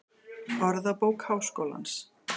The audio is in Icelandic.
Orðabók Háskólans.